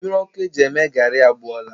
Mmiri ọkụ e ji eme gari agbọọla